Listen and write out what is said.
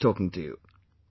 It was nice talking to you